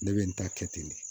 Ne bɛ n ta kɛ ten de